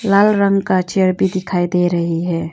लाल रंग का भी दिखाई दे रही है।